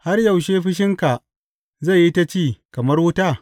Har yaushe fushinka zai yi ta ci kamar wuta?